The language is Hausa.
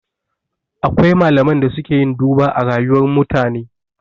Akwai malaman da suke yin duba a rayuwar mutane